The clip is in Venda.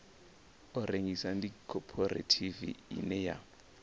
rengisa ndi khophorethivi ine ya